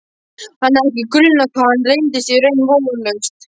Hann hafði ekki grunað hvað þetta reynist í raun vonlaust.